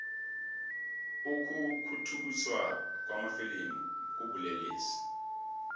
ukukhukhuthiswa kwamafilimu kubulelesi